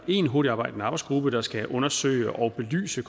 en hurtigtarbejdende arbejdsgruppe der skal undersøge og belyse